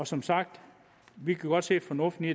som sagt godt se fornuften i